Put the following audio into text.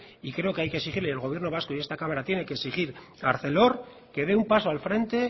y creo que el gobierno vasco y esta cámara tiene que exigir a arcelor que dé un paso al frente